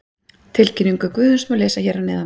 Tilkynningu Guðjóns má lesa hér að neðan.